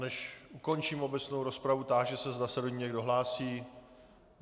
Než ukončím obecnou rozpravu, táži se, zda se do ní někdo hlásí.